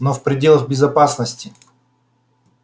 но в пределах безопасности